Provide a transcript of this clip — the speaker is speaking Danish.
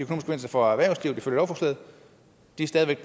konsekvenser for erhvervslivet ifølge lovforslaget det er stadig væk